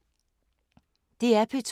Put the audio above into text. DR P2